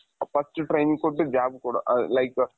ಅ first training ಕೊಡೊ ಅ like,